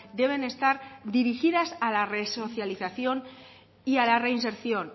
deben estar dirigidas a la resocialización y a la reinserción